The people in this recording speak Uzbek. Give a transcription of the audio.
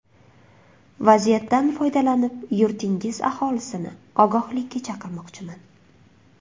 Vaziyatdan foydalanib, yurtingiz aholisini ogohlikka chaqirmoqchiman.